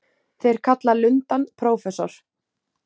Þeir kalla lundann prófessor.